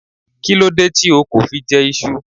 Why didn't you eat Yam?